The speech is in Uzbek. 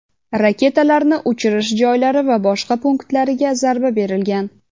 raketalarni uchirish joylari va boshqa punktlariga zarba berilgan.